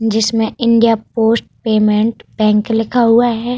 जिसमे India post payment bank लिखा हुआ हैं।